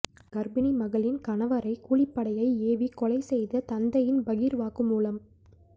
கர்ப்பிணி மகளின் கணவரை கூலிப்படையை ஏவி கொலை செய்த தந்தையின் பகீர் வாக்குமூலம்